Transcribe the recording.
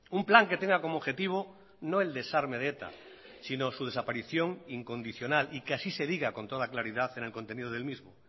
un plan que tenga como objetivo no el desarme de eta sino su desaparición incondicional y que así se diga con toda claridad en el contenido del mismo